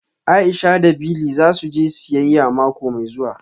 Aisha da Bili za su je siyayya mako mai zuwa